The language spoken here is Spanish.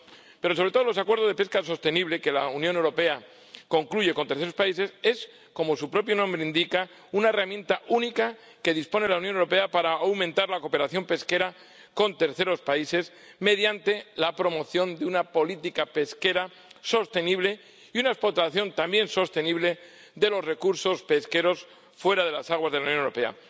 Pero, sobre todo, los acuerdos de pesca sostenible que la Unión Europea concluye con terceros países son, como su propio nombre indica, una herramienta única de la que dispone la Unión Europea para aumentar la cooperación pesquera con terceros países mediante la promoción de una política pesquera sostenible y una explotación también sostenible de los recursos pesqueros fuera de las aguas de la Unión Europea.